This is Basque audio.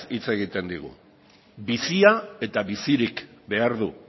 hitz egiten digu bizia eta bizirik behar du